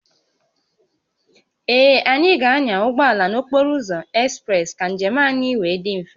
Ee, anyị ga-anya ụgbọ ala n'okporo ụzọ ekspreesị ka njem anyị wee dị mfe